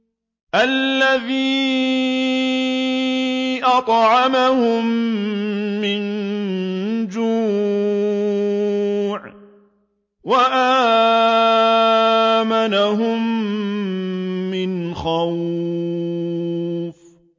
الَّذِي أَطْعَمَهُم مِّن جُوعٍ وَآمَنَهُم مِّنْ خَوْفٍ